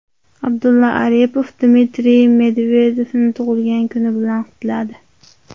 Abdulla Aripov Dmitriy Medvedevni tug‘ilgan kuni bilan qutladi.